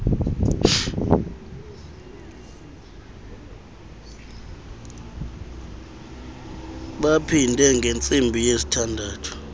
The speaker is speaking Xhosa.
baphinde kwangentsimbi yesithandathu